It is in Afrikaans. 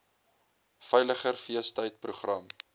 veiliger feestyd program